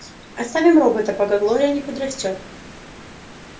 оставим робота пока глория не подрастёт